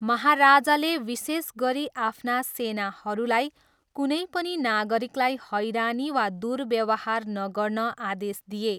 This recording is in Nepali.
महाराजाले विशेष गरी आफ्ना सेनाहरूलाई कुनै पनि नागरिकलाई हैरानी वा दुर्व्यवहार नगर्न आदेश दिए।